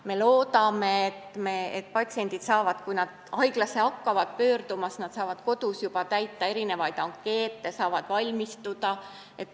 Me loodame, et patsiendid saavad juba enne haiglasse pöördumist täita kodus ankeete ja igatpidi valmistuda.